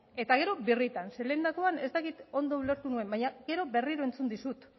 eta gero birritan zeren lehendakoan ez dakit ondo ulertu nuen baina gero berriro entzun dizut